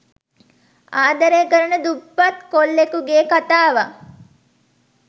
ආදරය කරන දුප්පත් කොල්ලෙකුගේ කතාවක්.